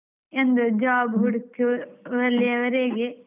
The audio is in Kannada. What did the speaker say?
ಒಂದು job ಹುಡುಕುವರೆಗೆ.